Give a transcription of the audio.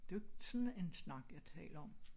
Det er jo ikke sådan en snak jeg taler om